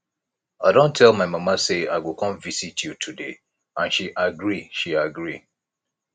i don tell my mama say i go come visit you today and she agree she agree